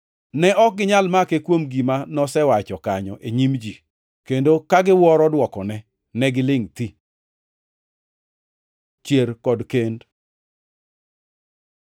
Ne ok ginyal make kuom gima nosewacho kanyo e nyim ji kendo ka giwuoro dwokone, negilingʼ thi. Chier kod kend